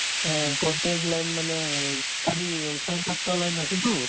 অ, প্ৰত্যেক line মানে এই চাৰি অ ছয় সাতটা line আছেতো